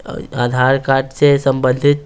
आधार card से संबंधित--